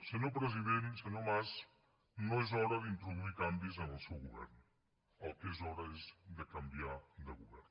senyor president senyor mas no és hora d’introduir canvis en el seu govern del que és hora és de canviar de govern